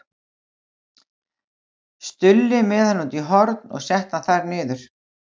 Stulli með hann út í horn og setti hann þar niður.